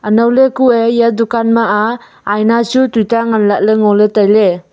anow ley kuye eya dukaan ma aa aina chu tuta ngan lah ley ngan ley tailey.